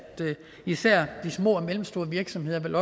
især de små og mellemstore virksomheder vil